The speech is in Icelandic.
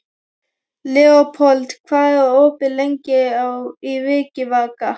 Leópold, hvað er opið lengi í Vikivaka?